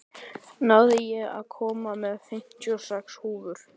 Náð, ég kom með fimmtíu og sex húfur!